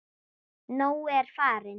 Nói er farinn.